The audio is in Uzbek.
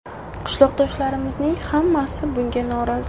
Qishloqdoshlarimizning hammasi bunga norozi.